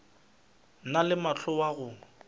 na le mohla wa go